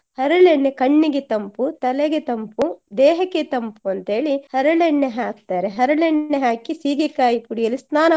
ಹರಳೆಣ್ಣೆ ಕಣ್ಣಿಗೆ ತಂಪು ತಲೆಗೆ ತಂಪು ದೇಹಕ್ಕೆ ತಂಪು ಅಂತ ಹೇಳಿ ಹರಳೆಣ್ಣೆ ಹಾಕ್ತಾರೆ. ಹರಳೆಣ್ಣೆ ಹಾಕಿ ಸೀಗೆಕಾಯಿ ಪುಡಿಯಲ್ಲಿ ಸ್ನಾನ ಮಾಡ್ಲಿಕ್ಕೆ